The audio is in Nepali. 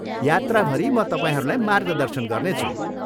यात्राभरि म तपाईँहरूलाई मार्गदर्शन गर्नेछु।